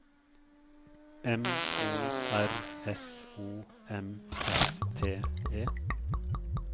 M O R S O M S T E